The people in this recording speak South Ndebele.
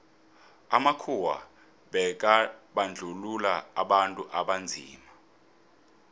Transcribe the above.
amakhuwa bekabandluua abantu abanzima